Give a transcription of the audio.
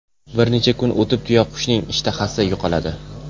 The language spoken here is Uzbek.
Bir necha kun o‘tib, tuyaqushning ishtahasi yo‘qoladi.